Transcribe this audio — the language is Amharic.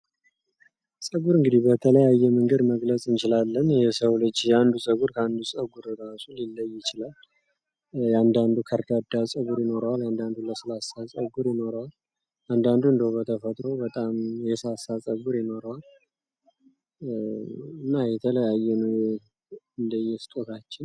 ፀጉር እንግዲህ በተለያየ መንገድ መግለጽ እንችላለን የሰው ልጅ የአንዱ ጸጉር ከአንዱ ፀጉር እራሱ ሊለይ ይችላል። የአንዳንዱ ከርዳዳ ፀጉር ይኖረዋል። ያንዳንዱ ለስላሳ ፀጉር ይኖረዋል። አንዳንዱ እንዴው በተፈጥሮ በጣም የሳሳ ፀጉር ይኖረዋል እና የተለያየ ነው እንደዬስጦታችን።